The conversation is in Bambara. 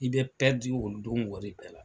I bɛ pɛrdi o don wari bɛɛ la.